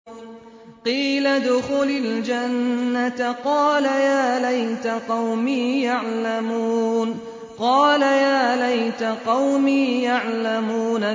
قِيلَ ادْخُلِ الْجَنَّةَ ۖ قَالَ يَا لَيْتَ قَوْمِي يَعْلَمُونَ